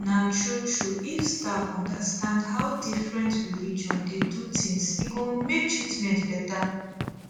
na true true if staff understand how different religion dey do things e go make treatment better